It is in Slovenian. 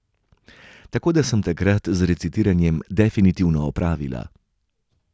Tako da sem takrat z recitiranjem definitivno opravila.